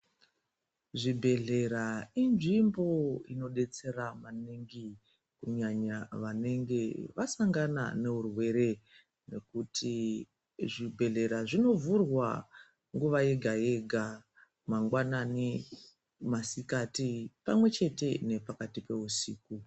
Zvibhedhlera inzvimbo inodetsera maningi kunyanya vanenge vasangana neurwere nekuti zvibhedhlera zvinovhurwa nguva yega yega mangwani masikati pamwechete nepakati peusiku.